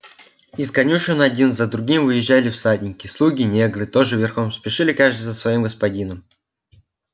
из конюшен один за другим выезжали всадники слуги-негры тоже верхом спешили каждый за своим господином